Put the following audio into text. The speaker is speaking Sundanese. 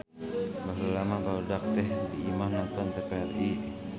baheula mah barudak teh diimah nongton TVRI